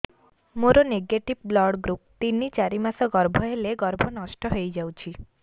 ମୋର negative blood group ତିନ ଚାରି ମାସ ଗର୍ଭ ହେଲେ ଗର୍ଭ ନଷ୍ଟ ହେଇଯାଉଛି